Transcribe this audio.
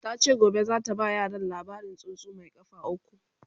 tace gobe zata ba yaran labarin tsuntsu Mai kafa ukwu